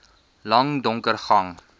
lang donker gang